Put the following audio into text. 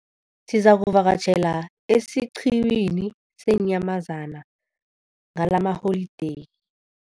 Sizakuvakatjhela esiqhiwini seenyamazana ngalamaholideyi.